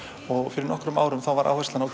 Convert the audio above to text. fyrir nokkrum árum þá var áherslan á